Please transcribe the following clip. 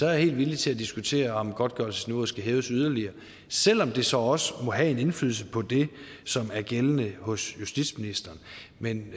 er helt villig til at diskutere om godtgørelsesniveauet skal hæves yderligere selv om det så også må have en indflydelse på det som er gældende hos justitsministeren men